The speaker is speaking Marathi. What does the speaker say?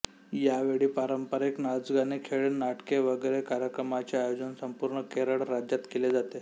यावेळी पारंपरिक नाचगाणी खेळ नाटके वगैरे कार्यक्रमांचे आयोजन संपूर्ण केरळ राज्यात केले जाते